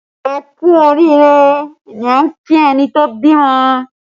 Ẹ kú oriire ni a ki ẹni tó bímọ